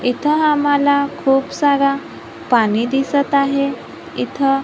इथं आम्हाला खूप सारा पाणी दिसत आहे इथं--